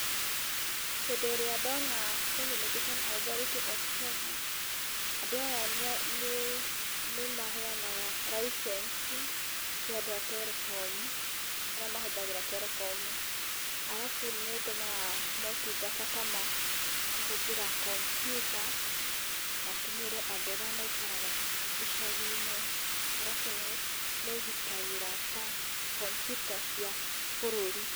Hĩndĩ ĩrĩa ndona Communication Authority of Kenya; andũ aya nĩ maheanaga licence kwĩ andũ a terekomu, arĩa mahũthagĩra terekomu. Arabu nĩ ĩtũmaga motungata ta ma kũhũthĩra kambyuta makinyĩre andũ arĩa maikaraga icagi-inĩ. Arabu nĩ ĩgitagĩra ta kambyuta cia bũrũri.